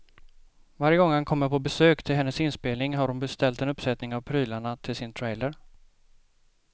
Varje gång han kommer på besök till hennes inspelning har hon beställt en uppsättning av prylarna till sin trailer.